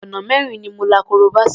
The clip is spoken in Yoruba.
Ọ̀nà mẹ́rin ni mo la korobá sí.